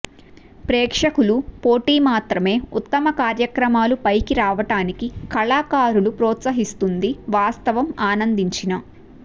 ప్రేక్షకులు పోటీ మాత్రమే ఉత్తమ కార్యక్రమాలు పైకి రావటానికి కళాకారులు ప్రోత్సహిస్తుంది వాస్తవం ఆనందించిన